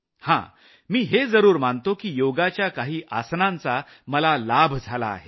हा मी हे जरूर मानतो की योगाच्या काही आसनांचा मला लाभ झाला आहे